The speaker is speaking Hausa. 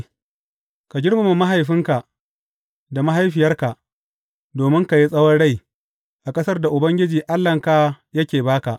Ka girmama mahaifinka da mahaifiyarka, domin ka yi tsawon rai a ƙasar da Ubangiji Allahnka yake ba ka.